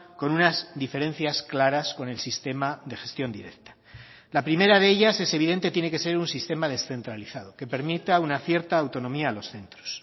con unas diferencias claras con el sistema de gestión directa la primera de ellas es evidente tiene que ser un sistema descentralizado que permita una cierta autonomía a los centros